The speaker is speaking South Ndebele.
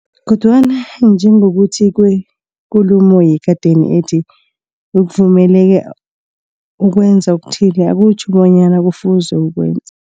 Kodwana njengokutjho kwekulumo yekadeni ethi, ukuvumeleka ukwenza okuthile, akutjho bonyana kufuze ukwenze.